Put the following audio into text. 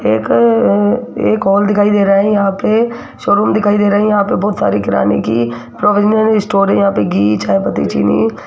एक अ एक हॉल दिखाई दे रहा है यहां पे शोरूम दिखाई दे रही है यहां पे बहुत सारी किराने की प्रोविजनल स्टोर यहां पे घी चाय पत्ती चीनी --